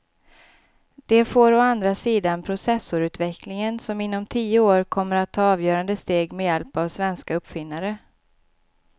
Det får å andra sidan processorutvecklingen som inom tio år kommer att ta avgörande steg med hjälp av svenska uppfinnare.